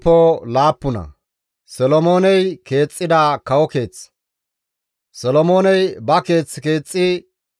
Solomooney ba keeth keexxi giiganaas 13 layth ekkides.